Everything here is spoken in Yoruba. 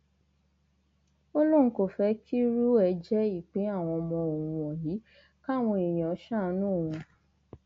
ó lóun kò fẹ kírú ẹ jẹ ìpín àwọn ọmọ òun wọnyí káwọn èèyàn ṣàánú òun